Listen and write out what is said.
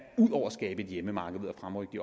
ud over at skabe et hjemmemarked ved at fremrykke de